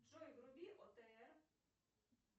джой вруби отр